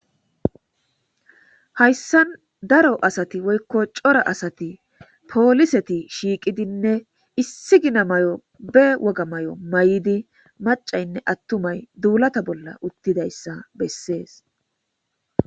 Hayssan daro asati woykko cora asati pooliseti shiiqidinne issi gina mayo be woga may7o may7idi macaynne attumay duulata bolla uttidayssa bessees